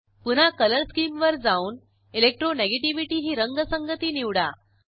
पुन्हा colour scheme वर जाऊन इलेक्ट्रोनेगेटिव्हिटी ही रंगसंगती निवडा